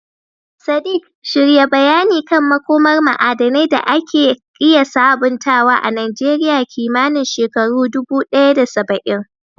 Sadiq, shirya bayani kan makomar ma'adanai da ake iya sabuntawa a Najeriya kimanin shekaru 1070.